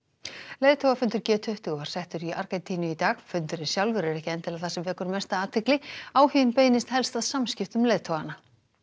leiðtogafundur g tuttugu var settur í Argentínu dag fundurinn sjálfur er ekki endilega það sem vekur mesta athygli áhuginn beinist helst að samskiptum leiðtoganna